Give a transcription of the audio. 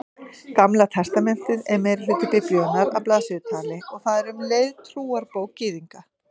Gamla testamentið er meirihluti Biblíunnar að blaðsíðutali og það er um leið trúarbók Gyðinga.